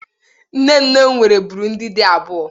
Nne nne m nwere bụrụ ndị di abụọ.